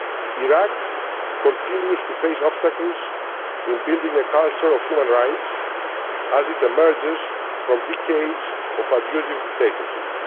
Iraq continues to face obstacles in building a culture of human rights as it emerges from decades of abusive dictatorship.